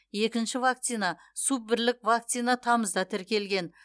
екінші вакцина суббірлік вакцина тамызда тіркелген